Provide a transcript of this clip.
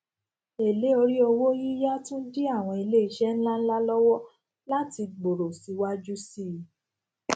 èlé orí owó yíya tun di àwọn ilé isẹ ńláńlá lowo lati gbòòrò síwájú síi